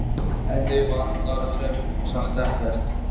En þig vantar sem sagt ekkert?